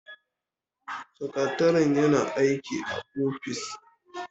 Sakatare yana aiki a ofis